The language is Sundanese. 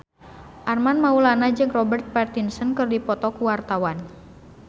Armand Maulana jeung Robert Pattinson keur dipoto ku wartawan